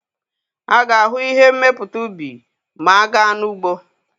A ga-ahụ ihe mmepụta ubi ma a gaa n'ugbo.